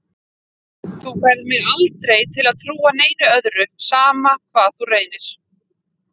Þú færð mig aldrei til að trúa neinu öðru, sama hvað þú reynir.